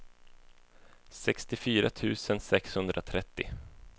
sextiofyra tusen sexhundratrettio